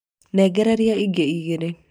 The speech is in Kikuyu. nengereria ingĩ igĩrĩ